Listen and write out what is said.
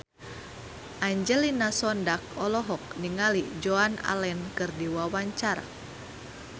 Angelina Sondakh olohok ningali Joan Allen keur diwawancara